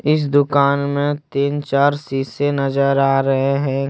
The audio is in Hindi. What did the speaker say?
इस दुकान में तीन चार शीशे नज़र आ रहे हैं।